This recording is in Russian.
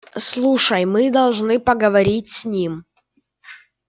слушай мы должны поговорить с ним